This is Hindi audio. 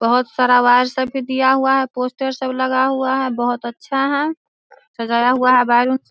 बहुत सारा अवार्ड्स सब भी दिया हुआ है पोस्टर सब लगा हुआ है बहुत अच्छा है सजाया हुआ है बैलून --